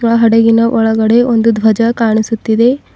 ಆ ಹಡಗಿನ ಒಳಗಡೆ ಒಂದು ಧ್ವಜ ಕಾಣಿಸುತ್ತಿದೆ.